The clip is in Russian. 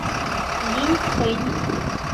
линьфэнь